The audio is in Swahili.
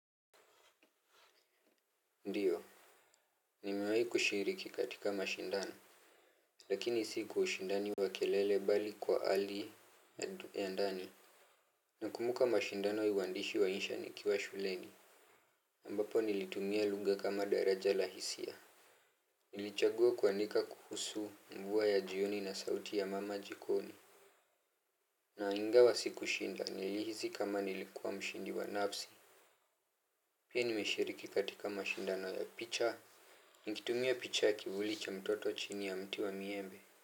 Ndiyo, nimewahi kushiriki katika mashindano lakini si kwa ushindani wa kelele mbali kwa hali ya ndani nakumbuka mashindano ya uandishi wa insha nikiwa shuleni ambapo nilitumia lugha kama daraja la hisia nilichagua kuandika kuhusu mvua ya jioni na sauti ya mama jikoni na ingawa sikushinda nilihisi kama nilikua mshindi wa nafsi pia nimeshiriki katika mashindano ya picha, nikitumia picha kivuli cha mtoto chini ya mti wa miembe.